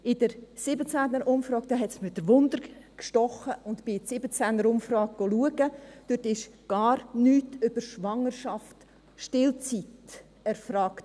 Mich hat die Neugier gepackt, und ich schaute in der 2017er-Umfrage nach: Dort wurde gar nichts über Schwangerschaft oder Stillzeit erfragt.